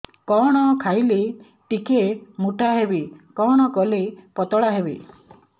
କଣ ଖାଇଲେ ଟିକେ ମୁଟା ହେବି କଣ କଲେ ପତଳା ହେବି